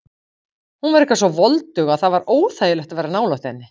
Hún var eitthvað svo voldug og það var óþægilegt að vera nálægt henni.